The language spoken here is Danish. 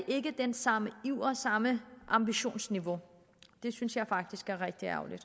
ikke den samme iver samme ambitionsniveau det synes jeg faktisk er rigtig ærgerligt